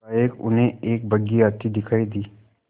एकाएक उन्हें एक बग्घी आती दिखायी दी